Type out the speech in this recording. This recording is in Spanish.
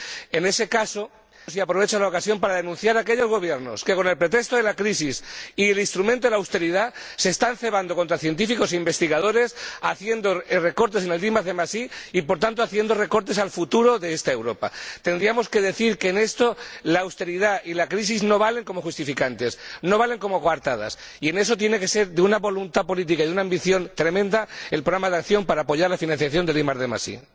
En este contexto, aprovecho la ocasión para denunciar a aquellos gobiernos que, con el pretexto de la crisis y el instrumento de la austeridad, se están cebando en científicos e investigadores haciendo recortes en el IDi y, por tanto, haciendo recortes al futuro de esta Europa. Tendríamos que decir que en esto la austeridad y la crisis no valen como justificantes, no valen como coartadas, y que tiene que ser de una voluntad política y de una ambición tremenda el programa de acción para apoyar la financiación del IDi.